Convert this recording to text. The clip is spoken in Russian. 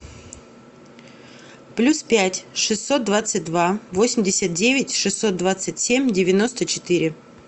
плюс пять шестьсот двадцать два восемьдесят девять шестьсот двадцать семь девяносто четыре